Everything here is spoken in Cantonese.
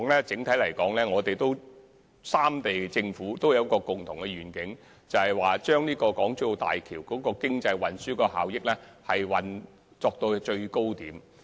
整體來說，三地政府的共同願景，是將大橋的經濟運輸效益提升至最高點。